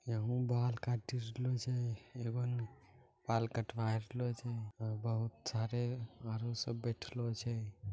यहुँ बाल काट रहल छे एवन बाल कटवा रहल छे बहुत सारे बाहरो सब बैठलो छे।